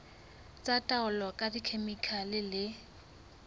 tsa taolo ka dikhemikhale le